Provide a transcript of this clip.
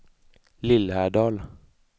Lillhärdal